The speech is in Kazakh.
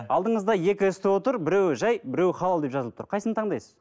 алдыңызда екі сто тұр біреуі жай біреуі халал деп жазылып тұр кайсысын таңдайсыз